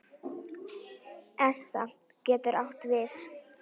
ESA getur átt við